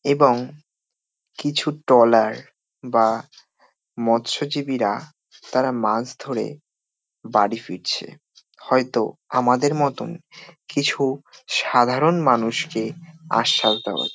এবং কিছু ট্রলার বা মৎস্যজীবীরা তারা মাছ ধরে বাড়ি ফিরছে। হয়তো আমাদের মতো কিছু সাধারণ মানুষকে আশ্বাস দেওয়াচ্ছে।